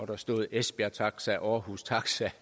der stod esbjerg taxa aarhus taxa